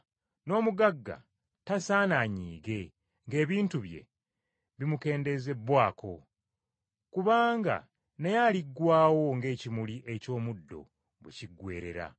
N’omugagga tasaana anyiige ng’ebintu bye bimukendezebbwaako, kubanga naye aliggwaawo ng’ekimuli eky’omuddo bwe kiggweerera.